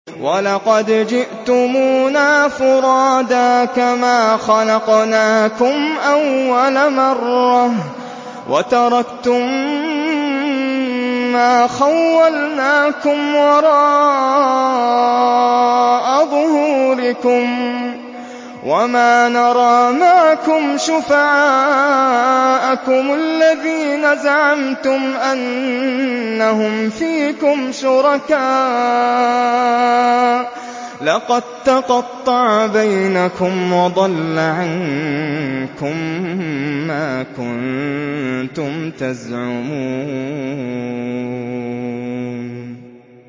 وَلَقَدْ جِئْتُمُونَا فُرَادَىٰ كَمَا خَلَقْنَاكُمْ أَوَّلَ مَرَّةٍ وَتَرَكْتُم مَّا خَوَّلْنَاكُمْ وَرَاءَ ظُهُورِكُمْ ۖ وَمَا نَرَىٰ مَعَكُمْ شُفَعَاءَكُمُ الَّذِينَ زَعَمْتُمْ أَنَّهُمْ فِيكُمْ شُرَكَاءُ ۚ لَقَد تَّقَطَّعَ بَيْنَكُمْ وَضَلَّ عَنكُم مَّا كُنتُمْ تَزْعُمُونَ